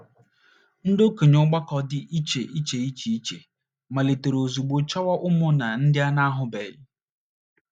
Ndị okenye ọgbakọ dị iche iche iche iche malitere ozugbo chọwa ụmụnna ndị a na - ahụbeghị.